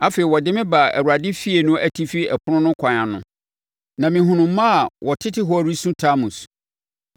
Afei ɔde me baa Awurade efie no atifi ɛpono no kwan ano, na mehunuu mmaa a wɔtete hɔ resu Tamus.